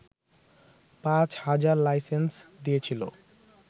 পাঁচ হাজার লাইসেন্স দিয়েছিল